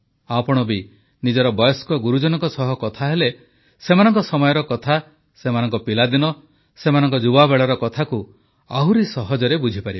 ଆପଣ ବି ନିଜର ବୟସ୍କ ଗୁରୁଜନଙ୍କ ସହ କଥା ହେଲେ ସେମାନଙ୍କ ସମୟର କଥା ସେମାନଙ୍କ ପିଲାଦିନ ସେମାନଙ୍କ ଯୁବାବେଳର କଥାକୁ ଆହୁରି ସହଜରେ ବୁଝିପାରିବେ